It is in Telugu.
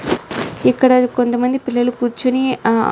ఇక్కడ కొంత మంది పిల్లలు కూర్చోని హా --